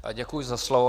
Děkuji za slovo.